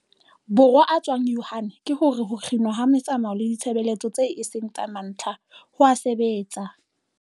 Borwa a tswang Wuhan ke hore ho kginwa ha metsamao le ditshebeletso tseo e seng tsa mantlha, ho a sebetsa.